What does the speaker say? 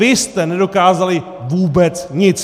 Vy jste nedokázali vůbec nic!